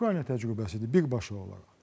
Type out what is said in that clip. Ukrayna təcrübəsidir birbaşa olaraq.